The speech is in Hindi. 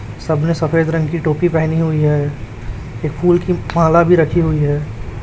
सब ने सफेद रंग की टोपी पहनी हुई है एक फूल की माला भी रखी हुई है।